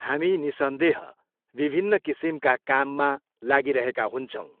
हामी निसन्देह विभिन्न किसिमका काममा लागिरहेका हुन्छौँ।